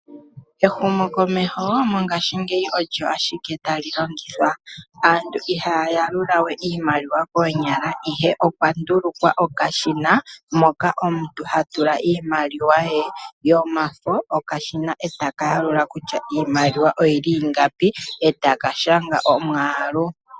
Ehumokomeho mongashingeyi olyo ashike tali longithwa. Aantu ihaya yalulawe iimaliwa koonyala ihe opwa ndulukwa okashina moka omuntu ha tula iimaliwa ye yomafo. Okashina etaka yalula kutya iimaliwa oyili ingapi etaka shanga omwaalu.